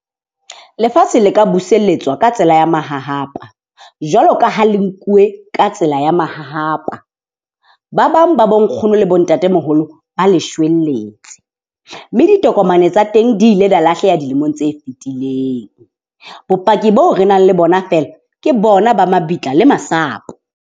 Lefatshe le ka buseletswa ka tsela ya mahahapa, jwalo ka ha le nkuwe ka tsela ya mahahapa. Ba bang ba bo nkgono le bo ntatemoholo ba le shwelletse mme ditokomane tsa teng di ile lahlela dilemong tse fitileng. Bopaki bo re nang le bona feela ke bona ba mabitla le masapo.